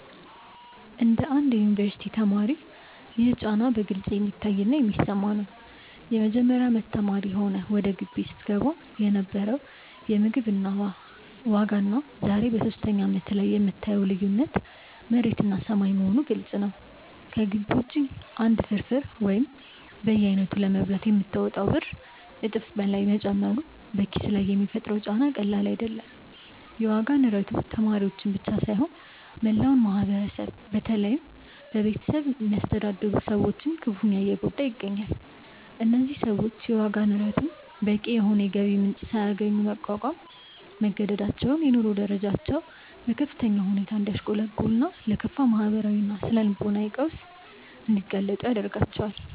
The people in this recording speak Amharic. እንደ አንድ የዩኒቨርሲቲ ተማሪ ይህ ጫና በግልጽ የሚታይና የሚሰማ ነው። የመጀመሪያ አመት ተማሪ ሆነህ ወደ ግቢ ስትገባ የነበረው የምግብ ዋጋና ዛሬ በሶስተኛ አመትህ ላይ የምታየው ልዩነት መሬትና ሰማይ መሆኑ ግልጽ ነው። ከግቢ ውጪ አንድ ፍርፍር ወይም በየአይነቱ ለመብላት የምታወጣው ብር እጥፍ በላይ መጨመሩ በኪስህ ላይ የሚፈጥረው ጫና ቀላል አይደለም። የዋጋ ንረቱ ተማሪዎችን ብቻ ሳይሆን መላውን ማህበረሰብ በተለይም ቤተሰብ የሚያስተዳድሩ ሰዎችን ክፉኛ እየጎዳ ይገኛል። እነዚህ ሰዎች የዋጋ ንረቱን በቂ የሆነ የገቢ ጭማሪ ሳያገኙ ለመቋቋም መገደዳቸው የኑሮ ደረጃቸው በከፍተኛ ሁኔታ እንዲያሽቆለቁልና ለከፋ ማህበራዊና ስነ-ልቦናዊ ቀውስ እንዲጋለጡ ያደርጋቸዋል።